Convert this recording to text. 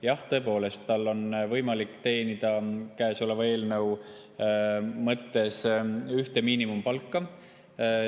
Jah, tõepoolest, tal on võimalik teenida käesoleva eelnõu mõttes ühte miinimumpalka.